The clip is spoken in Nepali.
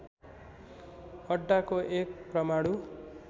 अड्डाको एक परमाणु